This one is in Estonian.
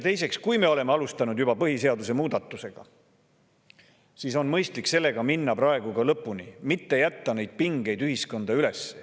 Teiseks, kui me juba oleme alustanud põhiseaduse muutmisega, siis on mõistlik minna sellega praegu lõpuni, mitte jätta neid pingeid ühiskonda üles.